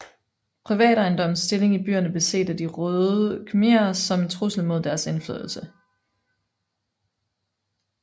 Privatejendommens stilling i byerne blev set af De røde khmerer som en trussel mod deres indflydelse